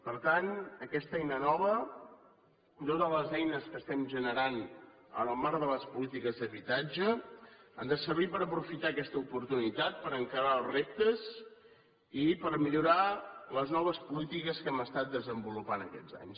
per tant aquesta eina nova i totes les eines que estem generant en el marc de les polítiques d’habitatge han de servir per aprofitar aquesta oportunitat per encarar els reptes i per millorar les noves polítiques que hem estat desenvolupant aquests anys